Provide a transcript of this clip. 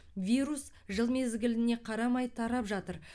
вирус жыл мезгіліне қарамай тарап жатыр